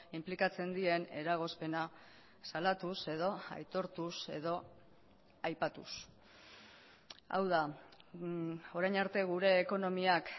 inplikatzen dien eragozpena salatuz edo aitortuz edo aipatuz hau da orain arte gure ekonomiak